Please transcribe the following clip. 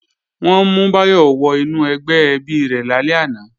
Wọ́n mú Báyọ̀ wọ inú ẹgbẹ́ ẹbí rẹ̀ lálẹ́ àná